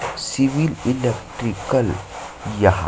CIBIL electrical यहाँ--